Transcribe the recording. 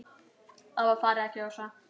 Það var farið að gjósa.